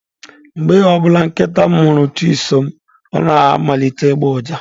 Mgbe ọ bụla nkịta m hụrụ Chisom, ọ na-amalite ịgba uja.